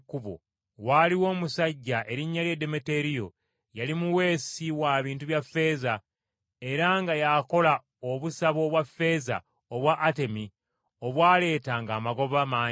Waaliwo omusajja erinnya lye Demeteriyo, yali muweesi wa bintu bya ffeeza, era nga y’akola obusabo obwa ffeeza obwa Atemi obwaleetanga amagoba mangi.